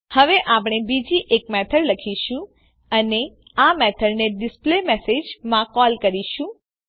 હવે આપણે બીજી એક મેથડ લખીશું અને આ મેથડને ડિસ્પ્લેમેસેજ માં કોલ કરીશું